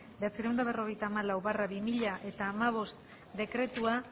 bederatziehun eta berrogeita hamalau barra bi mila hamabost dekretua